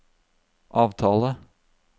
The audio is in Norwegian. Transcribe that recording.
avtale